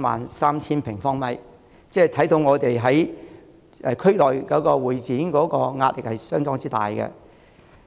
萬平方米，可以看到香港在會展場地方面的壓力相當大。